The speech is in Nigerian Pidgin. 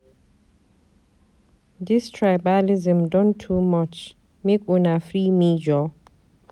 Dis tribalism don too much. Make una free me joor.